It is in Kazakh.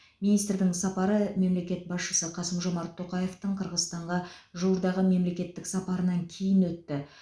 министрдің сапары мемлекет басшысы қасым жомарт тоқаевтың қырғызстанға жуырдағы мемлекеттік сапарынан кейін өтті